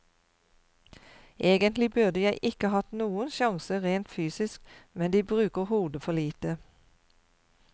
Egentlig burde jeg ikke hatt noen sjanse rent fysisk, men de bruker hodet for lite.